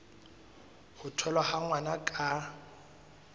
ho tholwa ha ngwana ka